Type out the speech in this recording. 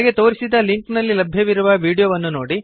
ಕೆಳಗೆ ತೋರಿಸಿದ ಲಿಂಕ್ನಲ್ಲಿ ಲಭ್ಯವಿರುವ ವೀಡಿಯೋವನ್ನು ನೋಡಿರಿ